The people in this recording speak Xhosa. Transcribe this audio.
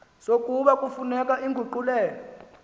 sokuba kufuneka inguqulelo